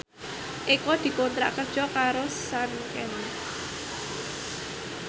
Eko dikontrak kerja karo Sanken